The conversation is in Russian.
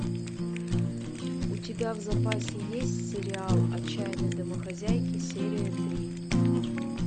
у тебя в запасе есть сериал отчаянные домохозяйки серия три